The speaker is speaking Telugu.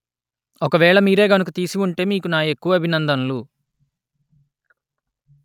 ఒకవేళ మీరే గనుక తీసి ఉంటే మీకు నా ఎక్కువ అభినందనలు